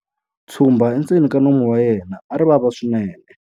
Tshumba endzeni ka nomu wa yena a ri vava swinene.